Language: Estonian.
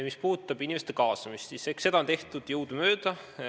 Mis puudutab inimeste kaasamist, siis eks seda ole tehtud jõudumööda.